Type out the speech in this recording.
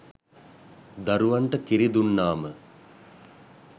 දරුවන්ට කිරි දුන්නාම